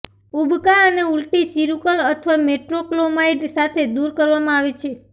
ઉબકા અને ઉલટી સિરુકલ અથવા મેટ્રોક્લોમાઇડ સાથે દૂર કરવામાં આવે છે